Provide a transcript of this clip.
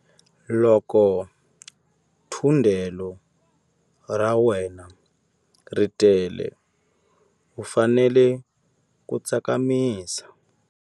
Loko thundelo ra wena ri tele u fanele ku tsakamisa.